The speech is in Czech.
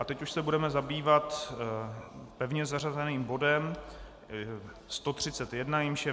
A teď už se budeme zabývat pevně zařazeným bodem 131, jímž je